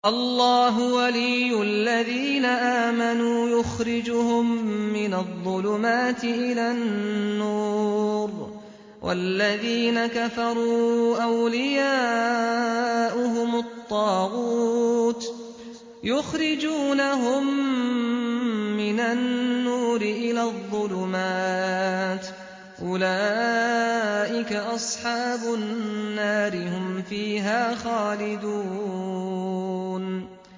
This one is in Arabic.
اللَّهُ وَلِيُّ الَّذِينَ آمَنُوا يُخْرِجُهُم مِّنَ الظُّلُمَاتِ إِلَى النُّورِ ۖ وَالَّذِينَ كَفَرُوا أَوْلِيَاؤُهُمُ الطَّاغُوتُ يُخْرِجُونَهُم مِّنَ النُّورِ إِلَى الظُّلُمَاتِ ۗ أُولَٰئِكَ أَصْحَابُ النَّارِ ۖ هُمْ فِيهَا خَالِدُونَ